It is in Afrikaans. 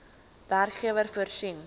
werkgewer voorsien